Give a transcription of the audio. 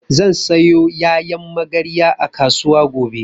Zan sayo ƴaƴan magarya a kasuwa gobe